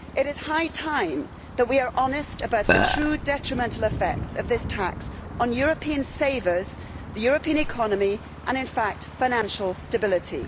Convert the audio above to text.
It is high time that we were honest about the true detrimental effects of this tax on European savers, the European economy and, in fact, financial stability.